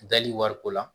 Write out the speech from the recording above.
Dali wariko la